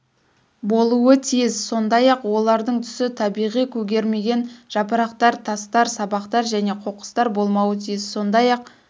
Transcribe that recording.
болуы тиіс сондай-ақ олардың түсі табиғи көгермеген жапырақтар тастар сабақтар және қоқыстар болмауы тиіс сондай-ақ